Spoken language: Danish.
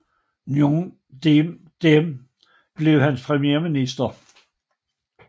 Ngo Dinh Diem blev hans premierminister